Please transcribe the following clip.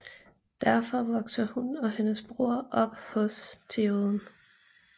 Derfor vokser hun og hendes bror op hos Théoden